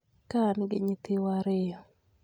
Ka an gi nyithiwa ariyo